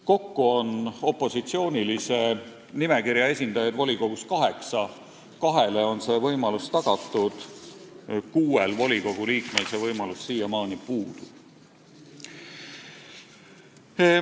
Kokku on opositsioonilise nimekirja esindajaid volikogus kaheksa, kahele on komisjoni kuulumise võimalus tagatud, kuuel volikogu liikmel see võimalus siiamaani puudub.